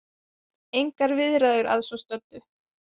Engar viðræður að svo stöddu